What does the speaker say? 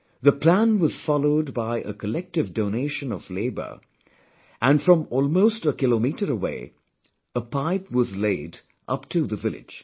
The plan was followed by collective donation of labour and from almost a kilometre away, a pipe was laid upto the village